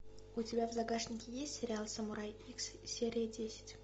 у тебя в загашнике есть сериал самурай икс серия десять